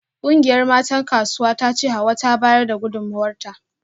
Kungiyar matan Kasuwar tace Hauwa ta bayar da gudunmawarta